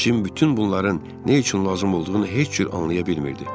Cim bütün bunların nə üçün lazım olduğunu heç cür anlaya bilmirdi.